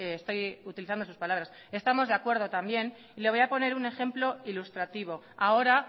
estoy utilizando sus palabras estamos de acuerdo también y le voy a poner un ejemplo ilustrativo ahora